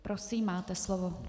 Prosím, máte slovo.